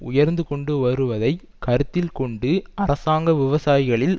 உயர்ந்து கொண்டு வருவதை கருத்தில் கொண்டு அரசாங்க விவசாயிகளில்